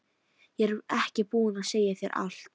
Ég er ekki búin að segja þér allt!